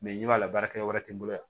i b'a la baarakɛ wɛrɛ tɛ n bolo yan